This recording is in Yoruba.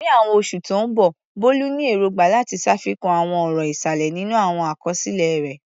Ní àwọn oṣù tó ń bọ̀, Bolu ní èrògbà láti ṣàfikún àwọn ọ̀rọ̀ ìsàlẹ̀ nínú àwọn àkọsílẹ̀ rẹ̀.